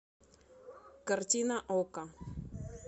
картина окко